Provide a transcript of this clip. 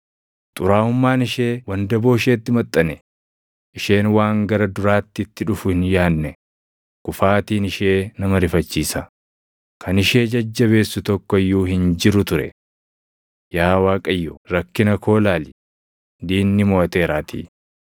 Xuraaʼummaan ishee wandaboo isheetti maxxane; isheen waan gara duraatti itti dhufu hin yaadne; kufaatiin ishee nama rifachiisa; kan ishee jajjabeessu tokko iyyuu hin jiru ture. “Yaa Waaqayyo rakkina koo ilaali; diinni moʼateeraatii!”